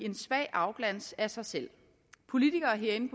en svag afglans af sig selv politikere herinde